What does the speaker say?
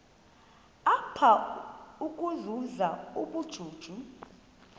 apha ukuzuza ubujuju